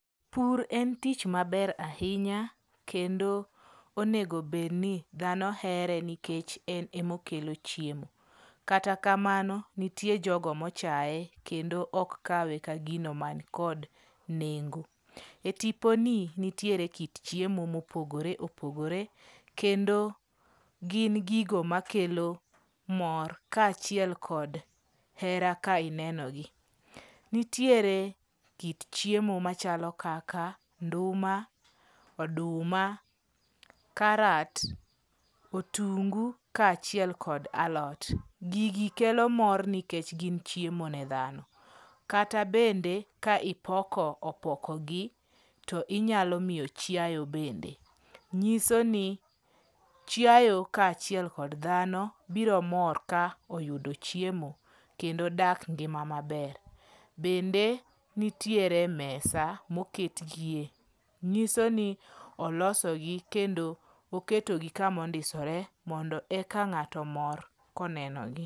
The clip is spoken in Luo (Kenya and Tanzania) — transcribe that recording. Pur en tich maber ahinya kendo onego bed ni dhano here nikech en ema okelo chiemo. Kata kamano nitie jogo mochaye kendo ok kawe ka gino mankod nengo. E tiponi nitiere kit chiemo mopogore opogore, kendo gin gigo makelo mor kaachiel kod hera ka inenogi. Nitiere kit chiemo machalo kaka nduma, oduma, karat, otungu kaachiel kod alot. Gigi kelo mor nikech gin chiemo ne dhano. Kata bende ka ipoko opoko gi, to inyalo miyo chiayo bende. Nyiso ni chiayo kaachiel kod dhano biro mor ka oyudo chiemo kendo dak ngima maber. Bende nitiere mesa moketgie. Nyiso ni olosogi kendo oketogi kamondisore eka ng'ato omor konenogi.